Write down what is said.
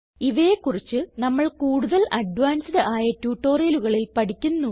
ഇവയെ കുറിച്ച് നമ്മൾ കൂടുതൽ അഡ്വാൻസ്ഡ് ആയ ട്യൂട്ടോറിയലുകളിൽ പഠിക്കുന്നു